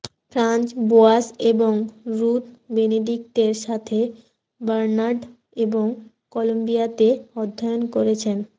Franz Boas এবং Ruth বেনেডিক্টের সাথে বার্নার্ড এবং কলম্বিয়াতে অধ্যয়ন করেছেন